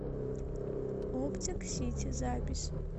оптик сити запись